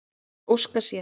Hann óskar sér.